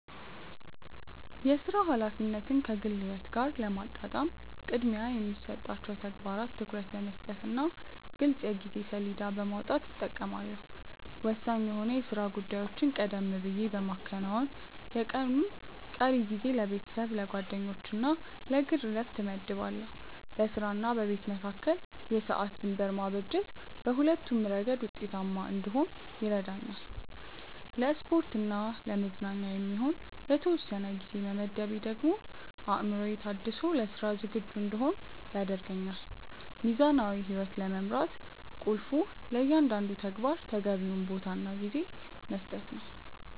የሥራ ኃላፊነትን ከግል ሕይወት ጋር ለማጣጣም ቅድሚያ ለሚሰጣቸው ተግባራት ትኩረት በመስጠትና ግልጽ የጊዜ ሰሌዳ በማውጣት እጠቀማለሁ። ወሳኝ የሆኑ የሥራ ጉዳዮችን ቀደም ብዬ በማከናወን፣ የቀኑን ቀሪ ጊዜ ለቤተሰብ፣ ለጓደኞችና ለግል ዕረፍት እመድባለሁ። በሥራና በቤት መካከል የሰዓት ድንበር ማበጀት በሁለቱም ረገድ ውጤታማ እንድሆን ይረዳኛል። ለስፖርትና ለመዝናኛ የሚሆን የተወሰነ ጊዜ መመደቤ ደግሞ አእምሮዬ ታድሶ ለሥራ ዝግጁ እንድሆን ያደርገኛል። ሚዛናዊ ሕይወት ለመምራት ቁልፉ ለእያንዳንዱ ተግባር ተገቢውን ቦታና ጊዜ መስጠት ነው።